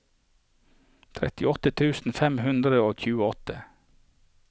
trettiåtte tusen fem hundre og tjueåtte